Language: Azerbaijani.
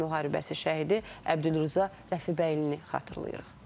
Vətən müharibəsi şəhidi Əbdülrəza Rəfibəylini xatırlayırıq.